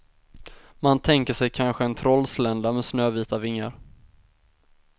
Man tänker sig kanske en trollslända med snövita vingar.